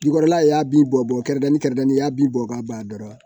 Jukɔrɔla y'a bin bɔ bɔn kɛrɛnkɛrɛnnen kɛrɛnni i y'a bin bɔ k'a ban dɔrɔn